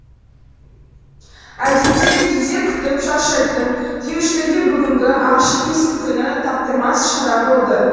әдетте кезек күтіп шаршайтын келушілерге бүгінгі ашық есік күні таптырмас шара болды